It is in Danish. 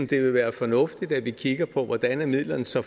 det vil være fornuftigt at vi kigger på hvordan midlerne så